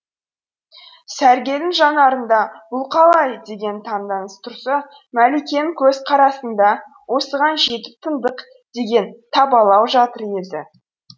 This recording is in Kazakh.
сәргелдің жанарында бұл қалай деген таңданыс тұрса мәликенің көзқарасында осыған жетіп тыңдық деген табалау жатыр еді